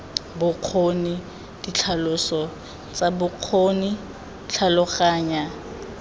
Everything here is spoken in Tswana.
bokgoni ditlhaloso tsa bokgoni tlhaloganya